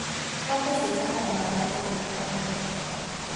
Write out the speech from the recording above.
Ngombe cibataraga maĩ matheru o mũthenya.